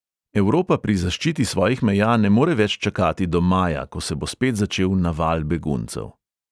Evropa pri zaščiti svojih meja ne more več čakati do maja, ko se bo spet začel naval beguncev.